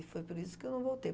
E foi por isso que eu não voltei.